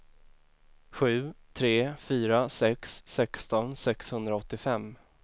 sju tre fyra sex sexton sexhundraåttiofem